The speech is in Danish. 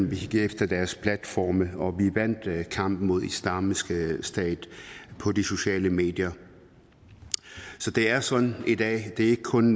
vi gik efter deres platforme og vi vandt kampen mod islamisk stat på de sociale medier så det er sådan i dag det er ikke kun